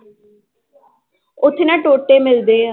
ਉੱਥੇ ਨਾ ਟੋਟੇ ਮਿਲਦੇ ਹੈ